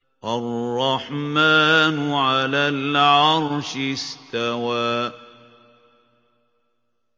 الرَّحْمَٰنُ عَلَى الْعَرْشِ اسْتَوَىٰ